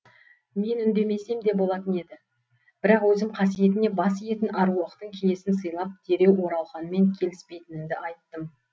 мен үндемесем де болатын еді бірақ өзім қасиетіне бас иетін аруақтың киесін сыйлап дереу оралханмен келіспейтінімді айттым